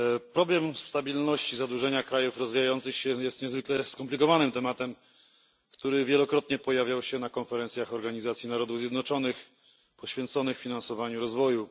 Problem stabilności zadłużenia krajów rozwijających się jest niezwykle skomplikowanym tematem, który wielokrotnie pojawiał się na konferencjach Organizacji Narodów Zjednoczonych poświęconych finansowaniu rozwoju.